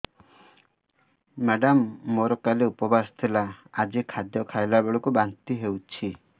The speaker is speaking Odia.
ମେଡ଼ାମ ମୋର କାଲି ଉପବାସ ଥିଲା ଆଜି ଖାଦ୍ୟ ଖାଇଲା ବେଳକୁ ବାନ୍ତି ହେଊଛି